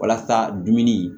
Walasa dumuni